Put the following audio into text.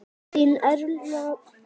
Þín Erla.